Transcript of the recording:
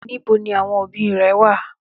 Níbo ni àwọn òbí rẹ wà?